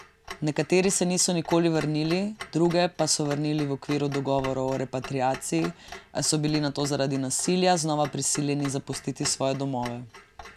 Nekateri se niso nikoli vrnili, druge pa so vrnili v okviru dogovorov o repatriaciji, a so bili nato zaradi nasilja znova prisiljeni zapustiti svoje domove.